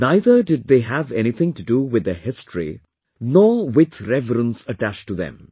Neither did they have anything to do with their history, nor with reverence attached to them